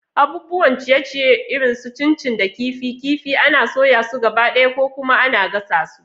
Abubuwan ciye-ciye irin su chin chin da kifi kifi ana soya su gabaɗaya ko kuma ana gasa su.